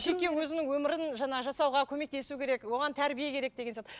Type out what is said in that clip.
жеке өзінің өмірін жаңағы жасауға көмектесу керек оған тәрбие керек деген сияқты